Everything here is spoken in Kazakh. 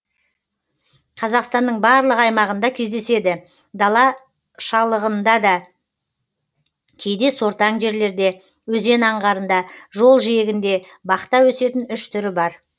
қазақстанның барлық аймағында кездеседі дала шалығынында кейде сортаң жерлерде өзен аңғарында жол жиегінде бақта өсетін үш түрі бар